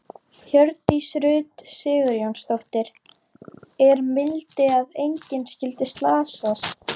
Hjördís Rut Sigurjónsdóttir: Er mildi að engin skyldi slasast?